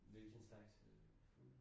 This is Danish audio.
Hvilken slags øh food?